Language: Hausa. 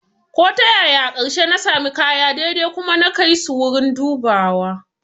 Ko ta yaya, a ƙarshe na sami kaya daidai kuma na kai su wurin dubawa